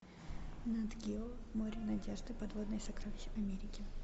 нат гео море надежды подводные сокровища америки